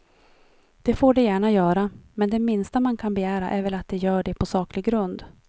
Det får de gärna göra, men det minsta man kan begära är väl att de gör det på saklig grund.